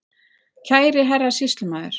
Kæri Herra Sýslumaður